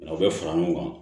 U bɛ fara ɲɔgɔn kan